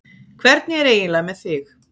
Hvernig er eiginlega með þig?